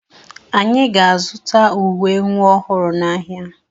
Anyị ga-azụta uwe nwa ọhụrụ n'ahịa.